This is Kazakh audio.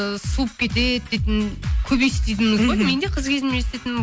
суып кетеді дейтін көп естейтінміз ғой мен де қыз кезімде естейтінмін